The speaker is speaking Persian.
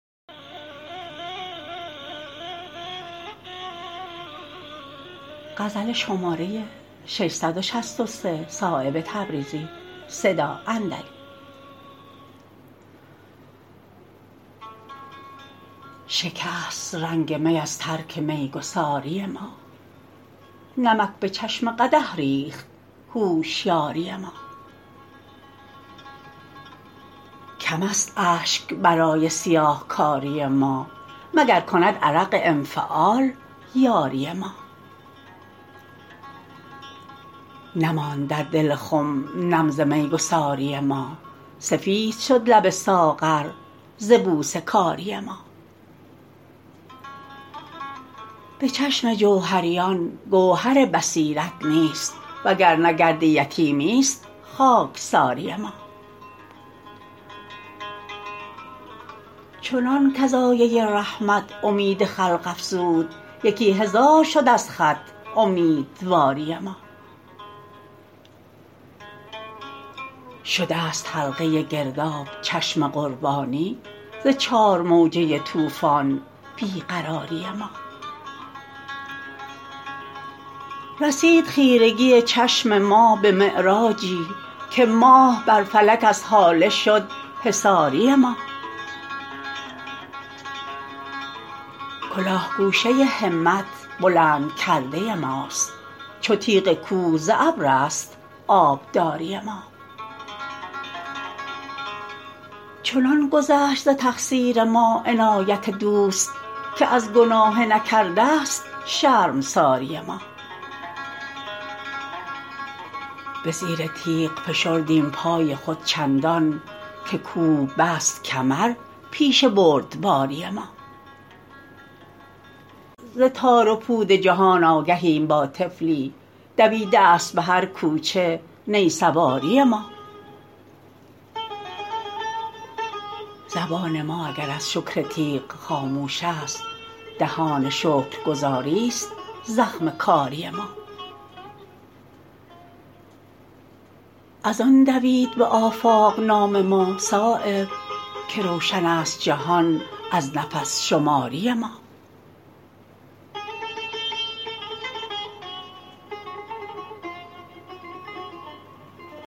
شکست رنگ می از ترک میگساری ما نمک به چشم قدح ریخت هوشیاری ما کم است اشک برای سیاهکاری ما مگر کند عرق انفعال یاری ما نماند در دل خم نم ز میگساری ما سفید شد لب ساغر ز بوسه کاری ما به چشم جوهریان گوهر بصیرت نیست وگرنه گرد یتیمی است خاکساری ما چنان کز آیه رحمت امید خلق افزود یکی هزار شد از خط امیدواری ما شده است حلقه گرداب چشم قربانی ز چارموجه طوفان بی قراری ما رسید خیرگی چشم ما به معراجی که ماه بر فلک از هاله شد حصاری ما کلاه گوشه همت بلند کرده ماست چو تیغ کوه ز ابرست آبداری ما چنان گذشت ز تقصیر ما عنایت دوست که از گناه نکرده است شرمساری ما به زیر تیغ فشردیم پای خود چندان که کوه بست کمر پیش بردباری ما ز تار و پود جهان آگهیم با طفلی دویده است به هر کوچه نی سواری ما زبان ما اگر از شکر تیغ خاموش است دهان شکرگزاری است زخم کاری ما ازان دوید به آفاق نام ما صایب که روشن است جهان از نفس شماری ما